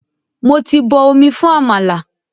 Mo ti bọ omi fún àmàlà.